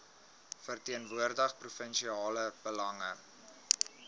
verteenwoordig provinsiale belange